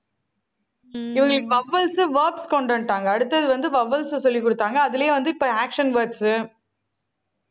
இவங்களுக்கு vowels உ words கொண்டு வந்துட்டாங்க. அடுத்தது வந்து vowels சொல்லிக் கொடுத்தாங்க. அதிலேயும் வந்து இப்ப action words